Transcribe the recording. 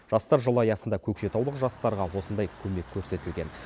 жастар жылы аясында көкшетаулық жастарға осындай көмек көрсетілген